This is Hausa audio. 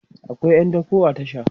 akwai ƴan dako a tasha